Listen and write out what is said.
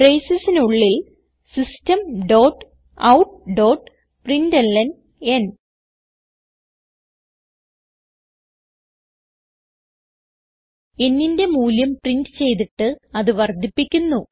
bracesനുള്ളിൽ systemoutപ്രിന്റ്ലൻ nന്റെ മൂല്യം പ്രിന്റ് ചെയ്തിട്ട് അത് വർദ്ധിപ്പിക്കുന്നു